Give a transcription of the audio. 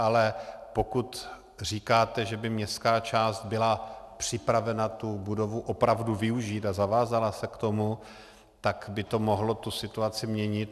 Ale pokud říkáte, že by městská část byla připravena tu budovu opravdu využít a zavázala se k tomu, tak by to mohlo tu situaci měnit.